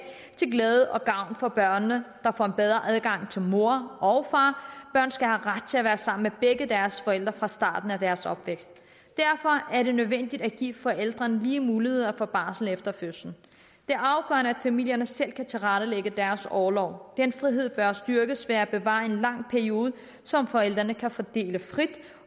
til glæde og gavn for børnene der får bedre adgang til mor og far børn skal have ret til at være sammen med begge deres forældre fra starten af deres opvækst derfor er det nødvendigt at give forældrene lige muligheder for barsel efter fødslen er afgørende at familierne selv kan tilrettelægge deres orlov den frihed bør styrkes ved at bevare en lang periode som forældrene kan fordele frit